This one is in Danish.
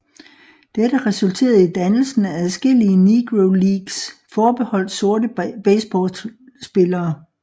Dette resulterede i dannelsen af adskillige Negro Leagues forbeholdt sorte baseballspillere